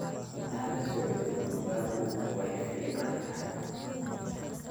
Inad lasocotid cunugaku way ficnthy.